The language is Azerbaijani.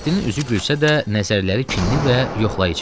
Mehdinin üzü gülsə də, nəzərləri kinli və yoxlayıcı idi.